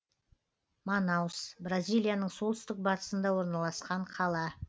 манаус бразилияның солтүстік батысында орналасқан қала